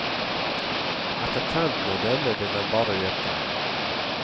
Etter trenden å dømme, vil den bare øke.